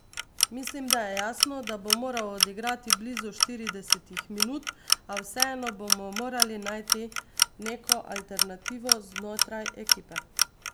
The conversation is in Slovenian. Mislim, da je jasno, da bo moral odigrati blizu štiridesetih minut, a vseeno bomo morali najti neko alternativo znotraj ekipe.